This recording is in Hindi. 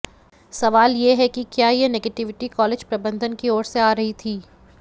सवाल यह है कि क्या यह नेगेटिविटी कॉलेज प्रबंधन की ओर से आ रही थी